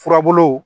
Furabulu